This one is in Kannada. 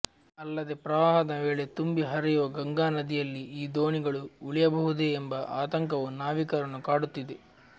ಅಲ್ಲದೆ ಪ್ರವಾಹದ ವೇಳೆ ತುಂಬಿ ಹರಿಯುವ ಗಂಗಾ ನದಿಯಲ್ಲಿ ಈ ದೋಣಿಗಳು ಉಳಿಯಬಹುದೇ ಎಂಬ ಆತಂಕವೂ ನಾವಿಕರನ್ನು ಕಾಡುತ್ತಿದೆ